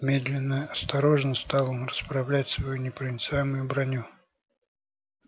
медленно осторожно стал он расправлять свою непроницаемую броню